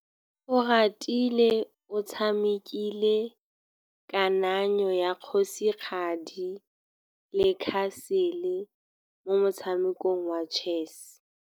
Oratile o tshamekile kananyô ya kgosigadi le khasêlê mo motshamekong wa chess.